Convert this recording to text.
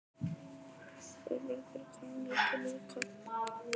Þórbergur, hvaða leikir eru í kvöld?